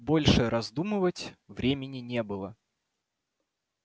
больше раздумывать времени не было